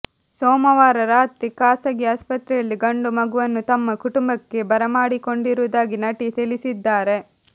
ಸೋಮವಾರ ರಾತ್ರಿ ಖಾಸಗಿ ಆಸ್ಪತ್ರೆಯಲ್ಲಿ ಗಂಡು ಮಗುವನ್ನು ತಮ್ಮ ಕುಟುಂಬಕ್ಕೆ ಬರಮಾಡಿಕೊಂಡಿರುವುದಾಗಿ ನಟಿ ತಿಳಿಸಿದ್ದಾರೆ